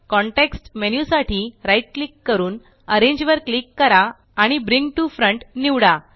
context menu साठी right click करून arrange वर क्लिक करा आणि ब्रिंग टीओ फ्रंट निवडा